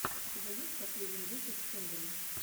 у тебя есть последний выпуск кэндэли